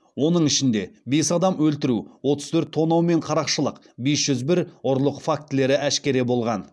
оның ішінде бес адам өлтіру отыз төрт тонау мен қарақшылық бес жүз бір ұрлық фактілері әшкере болған